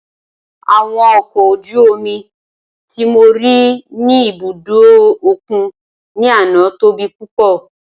Awọn ọkọ̀ ojú omi ti mo ri ni ibudo okun ni ana tobi pupọ.